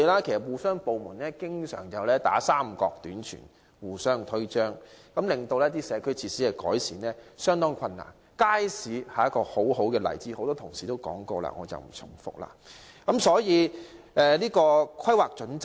由於部門之間經常互相"三角短傳"、互相推諉，令改善社區設施的工作變得相當困難，街市是一個很好的例子，由於多位同事已發表意見，我不想重複。